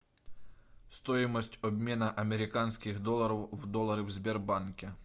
стоимость обмена американских долларов в доллары в сбербанке